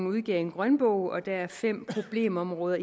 udgivet en grønbog og at der er identificeret fem problemområder